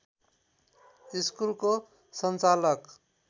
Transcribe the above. स्कुलको सञ्चालक